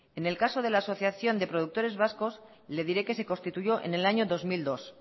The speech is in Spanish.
en el caso de la asociación de productores vascos le diré que se constituyó en el año dos mil dos